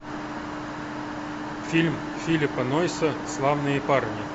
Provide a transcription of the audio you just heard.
фильм филиппа нойса славные парни